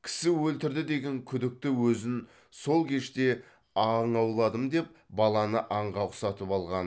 кісі өлтірді деген күдікті өзін сол кеште аң ауладым деп баланы аңға ұқсатып алған